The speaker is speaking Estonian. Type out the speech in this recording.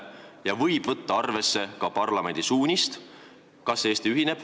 Ta võib võtta arvesse ka parlamendi suunist.